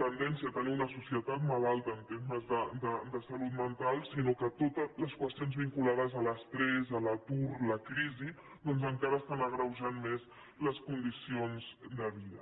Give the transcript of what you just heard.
tendència tenir una societat malalta en termes de salut mental sinó que totes les qüestions vinculades a l’estrès a l’atur a la crisi doncs encara estan agreujant més les condicions de vida